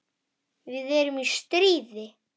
Við erum í stríði.